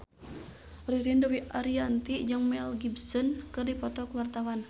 Ririn Dwi Ariyanti jeung Mel Gibson keur dipoto ku wartawan